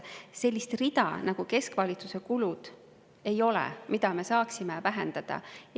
Sellist rida nagu "Keskvalitsuse kulud", mida me saaksime 200 miljoni euro ulatuses vähendada, ei ole.